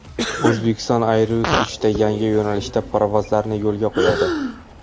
Uzbekistan Airways uchta yangi yo‘nalishda parvozlarni yo‘lga qo‘yadi.